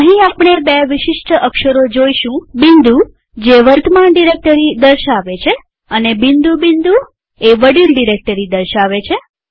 અહીં આપણે બે વિશિષ્ટ અક્ષરો જોઈશું બિંદુદોટ જે વર્તમાન ડિરેક્ટરી દર્શાવે છે અને બિંદુ બિંદુ જે વડીલ ડિરેક્ટરી દર્શાવે છે